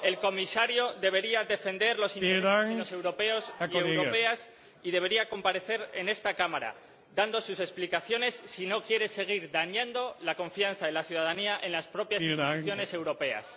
El Comisario debería defender los intereses de los europeos y europeas y debería comparecer en esta Cámara dando sus explicaciones si no quiere seguir dañando la confianza de la ciudadanía en las propias instituciones europeas.